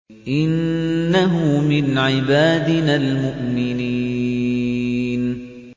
إِنَّهُ مِنْ عِبَادِنَا الْمُؤْمِنِينَ